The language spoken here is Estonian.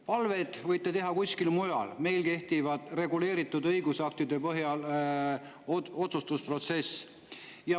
Palveid võite teha kuskil mujal, meil kehtib reguleeritud õigusaktide põhjal otsustusprotsess.